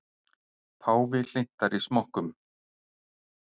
Páfi hlynntari smokkum